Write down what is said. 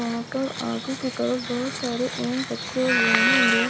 यहां पर आगे की तरफ बहोत सारे ऊन रखे हुए हैं।